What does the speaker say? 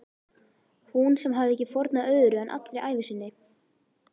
Hún sem hafði ekki fórnað öðru en allri ævi sinni.